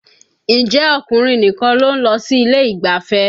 Ǹjẹ́ ọkùnrin nìkan ló ń lọ sí ilé ìgbafẹ́?